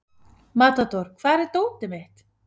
Matador, hvar er dótið mitt?